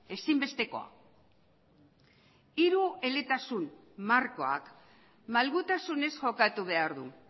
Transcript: ezinbestekoa hirueletasun markoak malgutasunez jokatu behar du